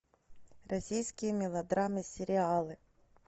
российские мелодрамы сериалы